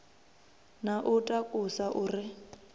na u takusa u re